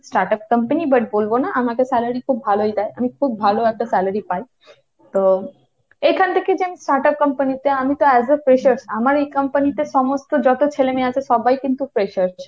start-up company but বলবো না আমাকে salary খুব ভালোই দেয়। আমি খুব ভালো একটা salary পাই। তো এখান থেকে যে start-up company তে আমিতো as a freshers আমার এই company তে সমস্ত যত ছেলেমেয়ে আছে সবাই কিন্তু freshers।